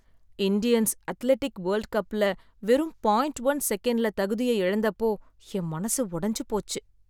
Indians athletic world கப்ல வெறும் point one செகண்ட்ல தகுதிய இழந்தப்போ, என் மனசு உடஞ்சுபோச்சு